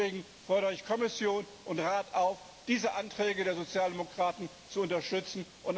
Und deswegen fordere ich Kommission und Rat auf, diese Anträge der Sozialdemokraten zu unterstützen.